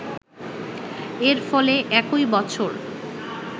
এর ফলে একই বছর